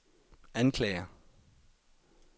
anklager